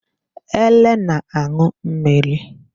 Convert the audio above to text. Ele na-aṅụ mmiri.